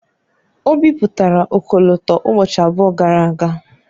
O bipụtara ọkọlọtọ ụbọchị abụọ gara aga.